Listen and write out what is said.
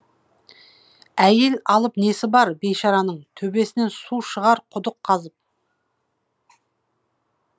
әйел алып несі бар бейшараның төбесінен су шығар құдық қазып